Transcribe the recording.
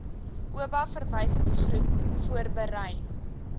oba verwysingsgroep voorberei